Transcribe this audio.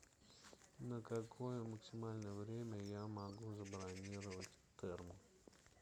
на какое максимальное время я могу забронировать терму